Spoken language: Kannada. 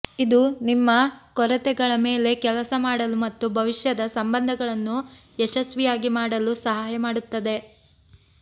ಇದು ನಿಮ್ಮ ಕೊರತೆಗಳ ಮೇಲೆ ಕೆಲಸ ಮಾಡಲು ಮತ್ತು ಭವಿಷ್ಯದ ಸಂಬಂಧಗಳನ್ನು ಯಶಸ್ವಿಯಾಗಿ ಮಾಡಲು ಸಹಾಯ ಮಾಡುತ್ತದೆ